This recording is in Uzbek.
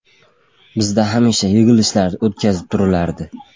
Bizda hamisha yig‘ilishlar o‘tkazib turilardi.